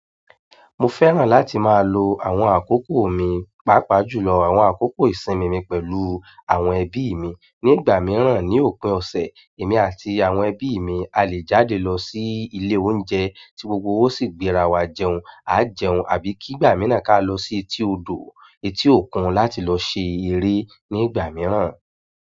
Mo fẹ́ràn láti máa lo àwọn àkókò mi, pàápàá jùlọ àwọn àkókò ìsinmi mi pẹ̀lú àwọn ẹbí mi. Ni ìgbà mìíràn ní òpin ọ̀sẹ̀, èmi àti àwọn ẹbí mi a lè jáde lọ sí ilé oúnjẹ tí gbogbo wa ó sì gbéra wa jẹun, a jẹun àbí kí ìgbà mìíràn ká lọ sí etí odò, etí òkun láti lọ ṣe eré ní ìgbà mìíràn.